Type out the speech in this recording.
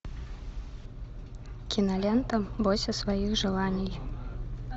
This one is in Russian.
кинолента бойся своих желаний